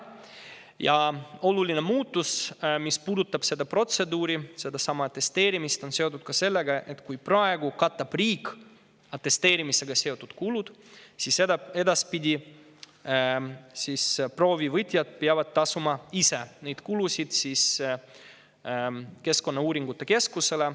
Ja oluline muudatus, mis puudutab seda protseduuri, sedasama atesteerimist, on seotud ka sellega, et praegu katab riik atesteerimisega seotud kulud, aga edaspidi peavad proovivõtjad ise tasuma need kulud keskkonnauuringute keskusele.